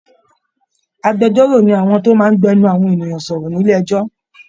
Agbẹjọ́rò ni àwọn tó máa ń gbẹnu àwọn ènìyàn sọ̀rọ̀ nílé ẹ̀jọ́